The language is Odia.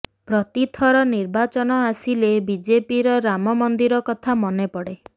ପ୍ରତିଥର ନିର୍ବାଚନ ଆସିଲେ ବିଜେପିର ରାମ ମନ୍ଦିର କଥା ମନେପଡ଼େ